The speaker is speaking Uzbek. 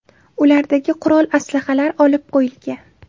Ulardagi qurol-aslahalar olib qo‘yilgan.